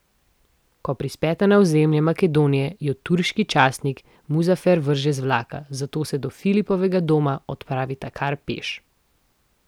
Ko prispeta na ozemlje Makedonije, ju turški častnik Muzafer vrže z vlaka, zato se do Filipovega doma odpravita kar peš.